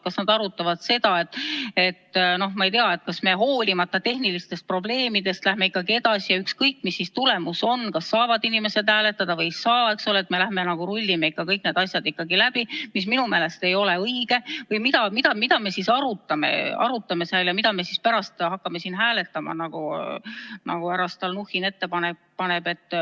Kas nad arutavad seda, et noh, ma ei tea, kas me hoolimata tehnilistest probleemidest läheme ikkagi edasi, ükskõik, mis tulemus on, kas inimesed saavad hääletada või ei saa, me läheme rullime kõik need asjad ikkagi läbi, mis minu meelest ei ole õige, või mida nad siis arutavad seal ja mida me pärast hakkame hääletama, nagu härra Stalnuhhin ette pani?